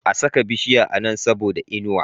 A saka bishiya a Nan saboda inuwa